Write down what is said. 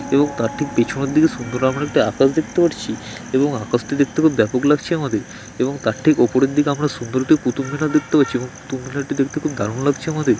এবং তার ঠিক পেছনের দিকে সুন্দর আমরা একটা আকাশ দেখতে পাচ্ছি এবং আকাশ টি দেখতে খুব ব্যাপক লাগছে আমাদের | এবং তার ঠিক ওপরের দিকে আমরা সুন্দর একটি কুতুব মিনার দেখতে পাচ্ছি এবং কুতুব মিনার টি দেখতে দারুন লাগছে আমাদের |